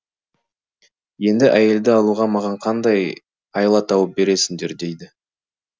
енді әйелді алуға маған қандай айла тауып бересіңдер дейді